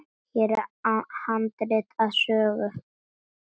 Hér er handrit að sögu.